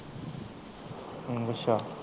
ਹਮ ਅੱਛਾ